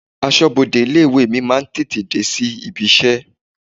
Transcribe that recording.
Aṣọbode ilé-ìwé mi máa ń tètè dé sí ibi-iṣẹ́.